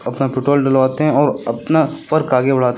अपना पेट्रोल डलवाते हैं और अपना आगे बढ़ाते--